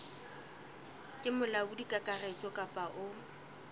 ke molaodi kakaretso kapa o